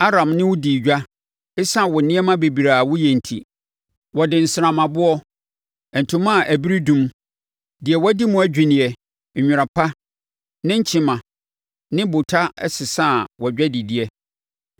“ ‘Aram ne wo dii edwa ɛsiane wo nneɛma bebrebe a woyɛ nti; wɔde nsrammaboɔ, ntoma a ɛberedum, deɛ wɔadi mu adwinneɛ, nwera pa, nnenkyenema ne bota bɛsesaa wʼadwadideɛ.